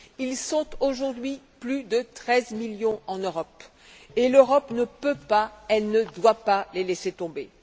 Ils sont aujourd'hui plus de 13 millions en Europe et l'Europe ne peut et ne doit pas les laisser tomber.